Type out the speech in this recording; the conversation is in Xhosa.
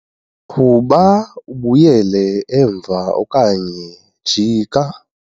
qhuba ubuyele emva okanye jika